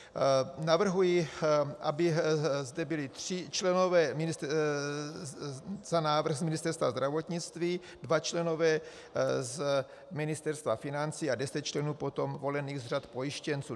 Navrhuji, aby zde byli tři členové na návrh z Ministerstva zdravotnictví, dva členové z Ministerstva financí a deset členů potom volených z řad pojištěnců.